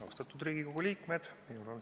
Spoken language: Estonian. Austatud Riigikogu liikmed!